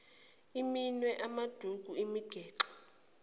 iminwe amaduku imigexo